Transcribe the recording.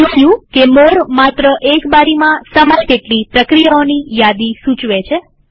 આપણે જોયું કે મોરે માત્ર એક બારીમાં સમાય તેટલી પ્રક્રિયાઓની યાદી સૂચવે છે